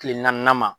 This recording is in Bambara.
Kile naaninan ma